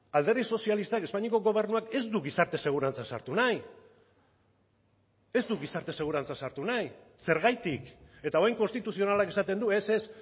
alderdi sozialistak espainiako gobernuak ez du gizarte segurantza sartu nahi ez du gizarte segurantza sartu nahi zergatik eta orain konstituzionalak esaten du ez ez